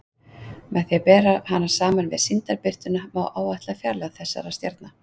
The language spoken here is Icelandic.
Með því að bera hana saman við sýndarbirtuna má áætla fjarlægð þessara stjarna.